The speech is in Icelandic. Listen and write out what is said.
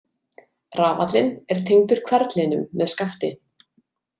Rafallinn er tengdur hverflinum með skafti.